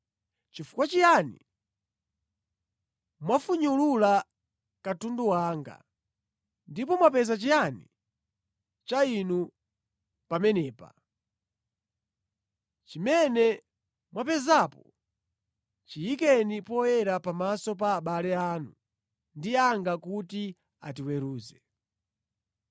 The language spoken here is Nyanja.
Chifukwa chiyani mwafunyulula katundu wanga? Ndipo mwapeza chiyani cha inu pamenepa? Chimene mwapezapo chiyikeni poyera pamaso pa abale anu ndi anga kuti atiweruze.